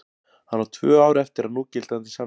Hann á tvö ár eftir af núgildandi samningi.